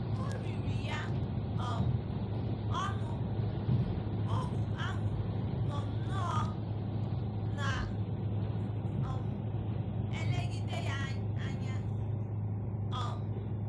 O riri ya um ọnụ, ohu ahụ nọ nnọọ “ na - um elegide ya anya. um ”